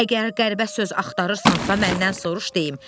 Əgər qəribə söz axtarırsansa, məndən soruş, deyim.